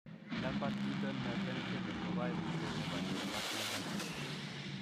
Lambert Eaton myasthenic syndrome ko koimutiet nebo neuromuscular junction.